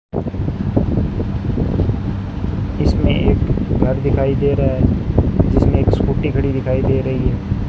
इसमें एक घर दिखाई दे रहा है जिसमें एक स्कूटी खड़ी हुई दिखाई दे रही है।